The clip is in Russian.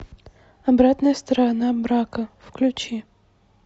обратная сторона брака включи